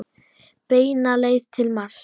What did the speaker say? Beina leið til Mars.